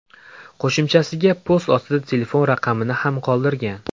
Qo‘shimchasiga, post ostida telefon raqamini ham qoldirgan.